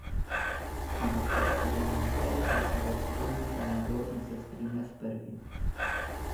Ampak iz sedemnajsterice se je opogumil še nekdo drug in se strinjal s prvim.